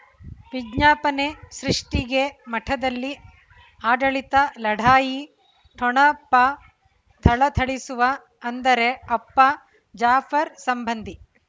ವಿಜ್ಞಾಪನೆ ಸೃಷ್ಟಿಗೆ ಮಠದಲ್ಲಿ ಆಡಳಿತ ಲಢಾಯಿ ಠೊಣಪ ಥಳಥಳಿಸುವ ಅಂದರೆ ಅಪ್ಪ ಜಾಫರ್ ಸಂಬಂಧಿ